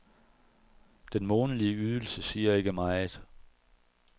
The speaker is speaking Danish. Den månedlige ydelse siger ikke meget.